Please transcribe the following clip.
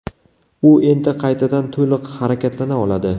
U endi qaytadan to‘liq harakatlana oladi.